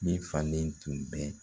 Min fanlen tun bɛ